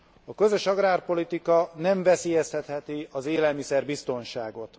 A közös agrárpolitika nem veszélyeztetheti az élelmiszer biztonságot.